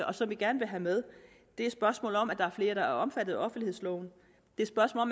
og som vi gerne vil have med det er spørgsmål om om der er flere der er omfattet af offentlighedsloven det er spørgsmål